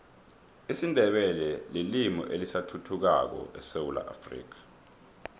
isindebele lilimi elisathuthukako esewula afrika